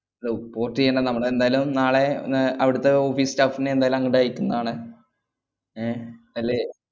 Hello port എയ്യണ്ട നമ്മളെന്തായാലും നാളെ ന്ന് അവിടത്തെ office staff നെ എന്തായാലും അങ്ങട്ട് അയക്കുന്നതാണ് ഏർ അല്ലേ